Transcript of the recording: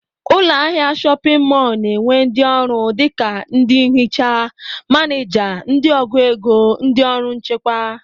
Ụlọahịa shọpịn mọl na-enwe ndị ọrụ dịka ndị nhicha, manịja, ndị ọgụ ego, ndị ọrụ nchekwa